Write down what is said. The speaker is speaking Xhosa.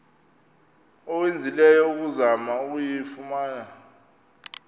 owenzileyo ukuzama ukuyifumana